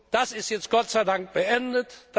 Das ist jetzt Gott sei Dank beendet.